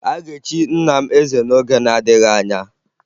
A ga-echi nna m eze n'oge na-adịghị anya